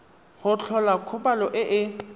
go tlhola kgobalo e e